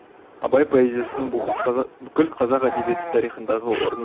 абай поэзиясыны бүкіл қазақ әдебиеті тарихындағы орны ерекш